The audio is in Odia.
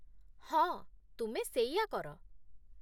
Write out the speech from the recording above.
ହଁ, ତୁମେ ସେଇଆ କର ।